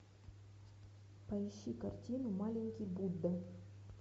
поищи картину маленький будда